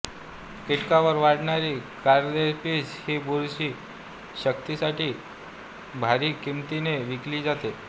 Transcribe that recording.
किटकांवर वाढणारी कॉर्द्य्सिप्स हि बुरशी शक्तीसाठी भारी किमतीने विकली जाते